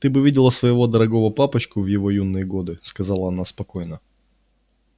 ты бы видела своего дорогого папочку в его юные годы сказала она спокойно